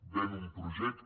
ven un projecte